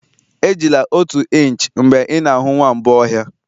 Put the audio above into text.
Ejila otu inch mgbe ị na-ahụ nwamba ọhịa